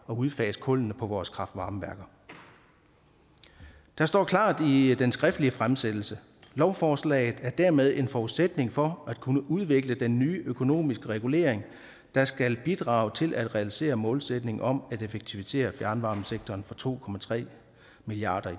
udfase kullene på vores kraftvarmeværker der står klart i den skriftlige fremsættelse lovforslaget er dermed en forudsætning for at kunne udvikle den nye økonomiske regulering der skal bidrage til at realisere målsætningen om at effektivisere fjernvarmesektoren for to milliard